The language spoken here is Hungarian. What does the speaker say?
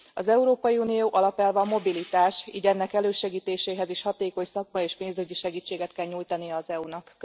Az Európai Unió alapelve a mobilitás, így ennek elősegítéséhez is hatékony szakmai és pénzügyi segítséget kell nyújtani az EU nak.